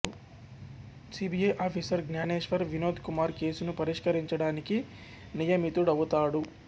CBI officer Gnaneshwar Vinod Kumar కేసును పరిష్కరించడానికి నియమితుడవుతాడు